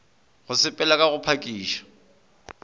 go sepela ka go phakiša